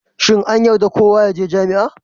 Shin an yarda kowa ya je jami'a?